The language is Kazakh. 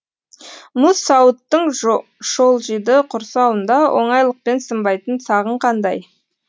мұз сауыттың шолжиды құрсауында оңайлықпен сынбайтын сағың қандай